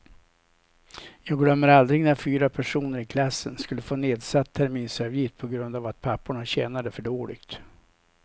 Jag glömmer aldrig när fyra personer i klassen skulle få nedsatt terminsavgift på grund av att papporna tjänade för dåligt.